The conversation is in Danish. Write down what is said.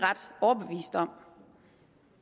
der